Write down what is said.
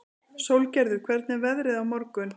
Sólgerður, hvernig er veðrið á morgun?